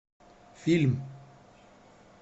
фильм